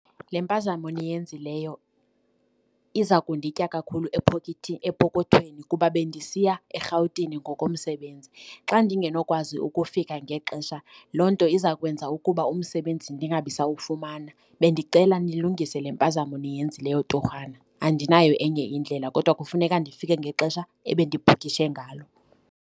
Le mpazamo niyenzileyo iza kunditya kakhulu epokothweni kuba bendisiya eRhawutini ngokomsebenzi. Xa ndingenokwazi ukufika ngexesha loo nto iza kwenza ukuba umsebenzi ndingabisawumana. Bendicela nilungise le mpazamo niyenzileyo torhwana, andinayo enye indlela kodwa kufuneka ndifike ngexesha ebendibhukishe ngalo.